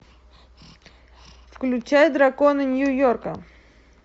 включай драконы нью йорка